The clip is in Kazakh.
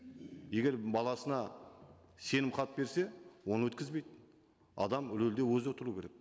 егер баласына сенімхат берсе оны өткізбейді адам рөлде өзі отыру керек